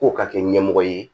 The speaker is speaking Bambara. K'o ka kɛ ɲɛmɔgɔ ye